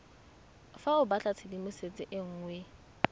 fa o batlatshedimosetso e nngwe